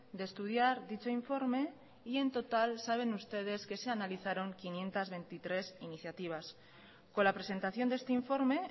de estudiar dicho informe y en total saben ustedes que se analizaron quinientos veintitrés iniciativas con la presentación de este informe